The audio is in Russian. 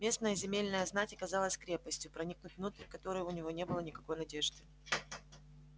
местная земельная знать оказалась крепостью проникнуть внутрь которой у него не было никакой надежды